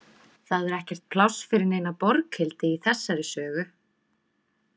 Það er ekkert pláss fyrir neina Borghildi í þessari sögu.